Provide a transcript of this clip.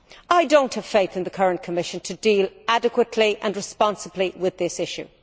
I do not have faith in the current Commission to deal adequately and responsibly with this issue.